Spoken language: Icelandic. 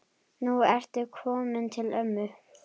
Nú ertu kominn til ömmu.